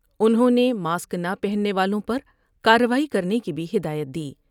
انہوں نہ ماسک نہ پہننے والوں پر کارروائی کرنے کی بھی ہدایت دی ۔